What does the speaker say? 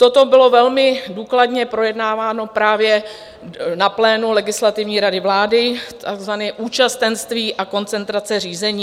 Toto bylo velmi důkladně projednáváno právě na plénu Legislativní rady vlády, takzvané účastenství a koncentrace řízení.